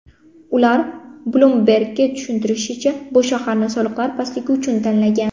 U Bloomberg‘ga tushuntirishicha, bu shaharni soliqlar pastligi uchun tanlagan.